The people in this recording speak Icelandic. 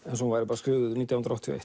eins og hún væri skrifuð nítján hundruð áttatíu